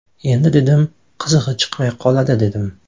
Endi dedim, qizig‘i chiqmay qoladi, dedim.